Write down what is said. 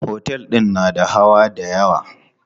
Otel din na da hawa dayawa.